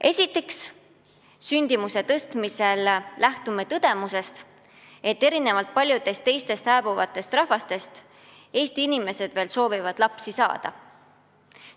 Esiteks, püüdes sündimust suurendada, me lähtume tõdemusest, et erinevalt paljudest teistest hääbuvatest rahvastest Eesti inimesed veel soovivad lapsi saada.